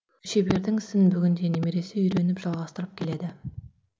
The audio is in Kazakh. шебердің ісін бүгінде немересі үйреніп жалғастырып келеді